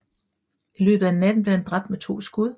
I løbet af natten blev han dræbt med to skud